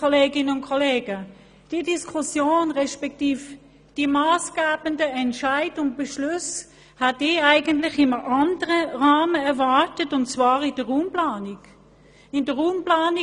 Diese Diskussion, respektive die massgebenden Entscheide und Beschlüsse, hätte ich eigentlich in einem anderen Rahmen erwartet, nämlich in der Raumplanung.